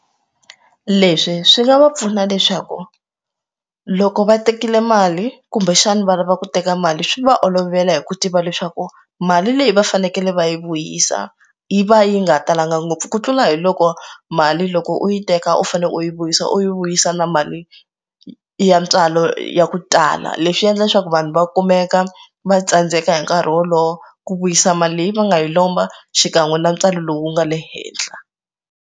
Leswi swi nga va pfuna leswaku loko va tekile mali kumbexana va lava ku teka mali swi va olovela hi ku tiva leswaku mali leyi va fanekele va yi vuyisa yi va yi nga talanga ngopfu ku tlula hi loko mali mali loko u yi teka u fane u yi vuyisa u yi vuyisa na mali ya ntswalo ya ku tala leswi endla leswaku vanhu va kumeka va tsandzeka hi nkarhi wolowo ku vuyisa mali leyi va nga yi lomba xikan'we na ntswalo lowu nga le henhla.